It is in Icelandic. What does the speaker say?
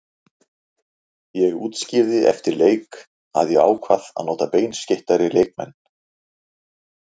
Ég útskýrði eftir leik að ég ákvað að nota beinskeyttari leikmenn.